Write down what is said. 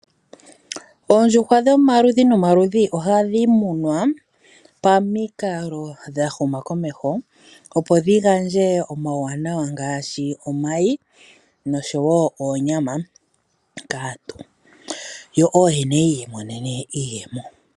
Oondjuhwa dhomaludhi nomaludhi ohadhi tekulwa pamikalo dha huma komeho opo dhi gandje omauwanawa ngaashi omayi noshowo oonyama kaantu yo ooyene yiimonene iiyemo.